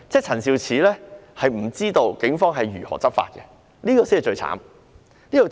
陳肇始局長不知道警方如何執法，這才是最糟糕的。